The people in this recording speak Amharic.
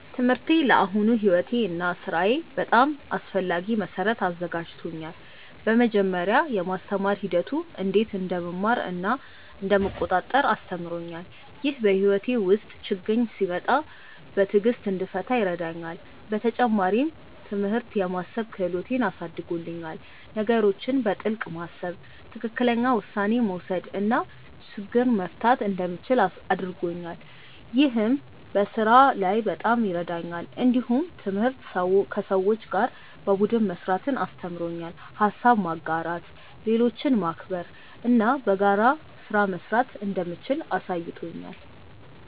ትምህርቴ ለአሁኑ ሕይወቴ እና ሥራዬ በጣም አስፈላጊ መሠረት አዘጋጅቶኛል። በመጀመሪያ፣ የማስተማር ሂደቱ እንዴት እንደምማር እና እንደምቆጣጠር አስተምሮኛል። ይህ በሕይወቴ ውስጥ ችግኝ ሲመጣ በትዕግሥት እንድፈታ ይረዳኛል። በተጨማሪም፣ ትምህርት የማሰብ ክህሎትን አሳድጎልኛል። ነገሮችን በጥልቅ ማሰብ፣ ትክክለኛ ውሳኔ መውሰድ እና ችግኝ መፍታት እንደምችል አድርጎኛል። ይህ በስራ ላይ በጣም ይረዳኛል። እንዲሁም ትምህርት ከሰዎች ጋር በቡድን መስራትን አስተምሮኛል። ሀሳብ ማጋራት፣ ሌሎችን ማክበር እና በጋራ ስራ መስራት እንደምችል አሳይቶኛል።